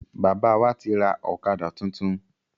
Bàbá wá ti rà ọ̀kadà tuntun